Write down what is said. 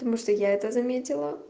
тому что я это заметила